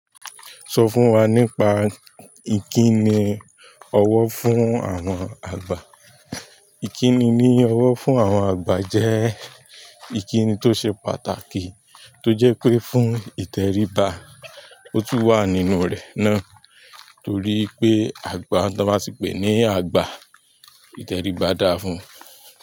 Sọ fún wa nípa ìkíni ọwọ́ fún àwọn àgbà. Ìkíni ní ọwọ́ fún àwọn àgbà jẹ́ ìkìni tó ṣe pàtàkì tó jẹ́ pé fún ìtẹríba, ó tún wà nínú rẹ̀ náà torí pé àgbà tan bá tì pè ní àgbà ìtẹríba dá fún.